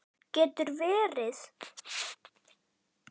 Getur verið?